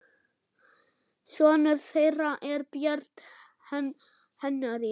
Sonur þeirra er Björn Henry.